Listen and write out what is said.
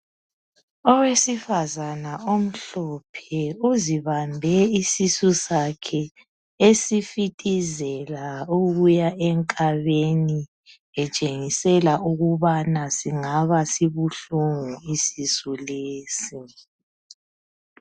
Owesifazane omhlophe uzibambe isisu sakhe esifitizela ukuya enkabeni etshengisela ukuba singaba sibuhlungu isisu lesi